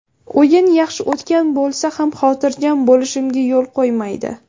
O‘yin yaxshi o‘tgan bo‘lsa ham, xotirjam bo‘lishimga yo‘l qo‘ymaydi.